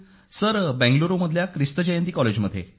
sir Bengaluru मधल्या क्रिस्तू जयंती कॉलेजमध्ये